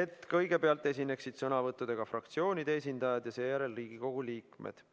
et kõigepealt esineksid sõnavõttudega fraktsioonide esindajad ja seejärel Riigikogu liikmed.